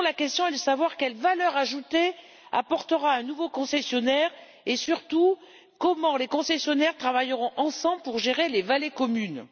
La question est plutôt de savoir quelle valeur ajoutée apportera un nouveau concessionnaire et, surtout, comment les concessionnaires travailleront ensemble pour gérer les vallées communes.